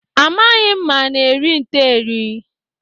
Amaghị m ma ana eri nte eri.